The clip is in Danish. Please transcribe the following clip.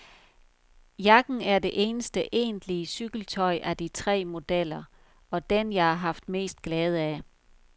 Jakken er det eneste egentlige cykeltøj af de tre modeller, og den jeg har haft mest glæde af.